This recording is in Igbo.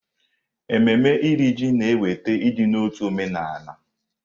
Ememme Iri Ji na-eweta ịdị n'otu omenala.